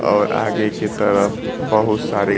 और आगे की तरफ बहुत सारे।